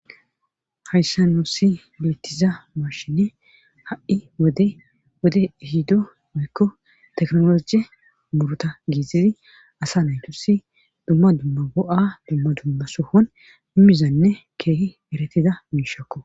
Hayssan nuussi biittiza mashine ha7i dwode ihido moykko teknologe muruta giizizi asa naytusi dumma dumma bo7a dumma dumma suhon imizanne keehi eretida miishakko.